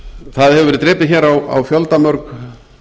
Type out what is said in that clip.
það hefur verið drepið hér á fjöldamörg